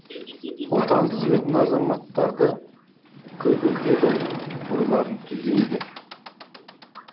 отанын сүйетін азаматтарды көбейтеді ойларын түзейді